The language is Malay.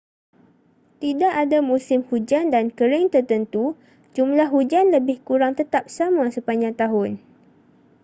tidak ada musim hujan dan kering tertentu jumlah hujan lebih kurang tetap sama sepanjang tahun